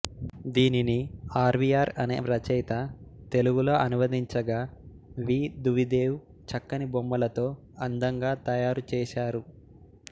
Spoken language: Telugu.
దీనిని ఆర్వియార్ అనే రచయిత తెలుగులో అనువదించగా వి దువిదేవ్ చక్కని బొమ్మలతో అందంగా తయారుచేశారు